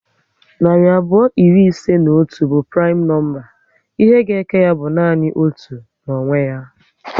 Narị abụọ iri ise na otu bụ primu nọmba. Ihe ga eke ya bụ nanị otu na onwe ya